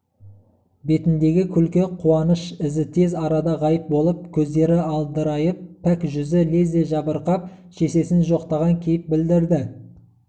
бетіндегі күлкі қуаныш ізі тез арада ғайып болып көздері адырайып пәк жүзі лезде жабырқап шешесін жоқтаған кейіп білдірді